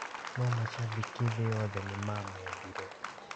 No macambĩki thĩ yothe nĩmamĩendire